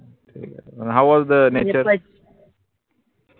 तेई आहे न howwasthenature